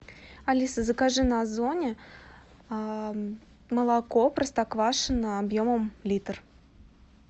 алиса закажи на озоне молоко простоквашино объемом литр